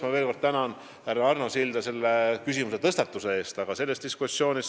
Ma veel kord tänan härra Arno Silda selle küsimuse tõstatamise eest!